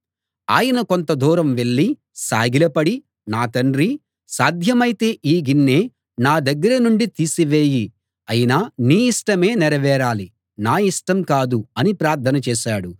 ఆయన కొంత దూరం వెళ్ళి సాగిలపడి నా తండ్రీ సాధ్యమైతే ఈ గిన్నె నా దగ్గర నుండి తీసివేయి అయినా నీ ఇష్టమే నెరవేరాలి నా ఇష్టం కాదు అని ప్రార్థన చేశాడు